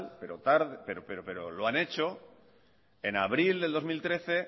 pero lo han hecho en abril del dos mil trece